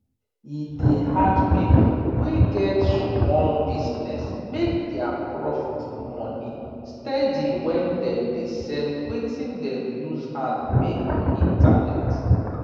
e dey hard pipu wey get sumol business make dia proft money steady when dem dey sell wetin dem use hand make for internet